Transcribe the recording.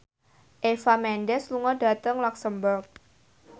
Eva Mendes lunga dhateng luxemburg